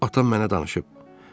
Atam mənə danışıb.